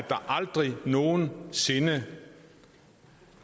aldrig nogen sinde